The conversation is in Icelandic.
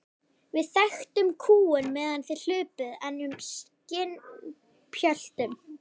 Við þekktum kúgun meðan þið hlupuð enn um í skinnpjötlum.